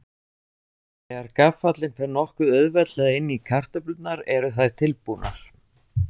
Þegar gaffallinn fer nokkuð auðveldlega inn í kartöflurnar eru þær tilbúnar.